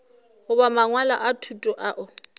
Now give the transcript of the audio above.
goba mangwalo a thuto ao